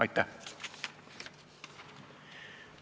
Aitäh!